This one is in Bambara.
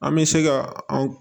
An bɛ se ka an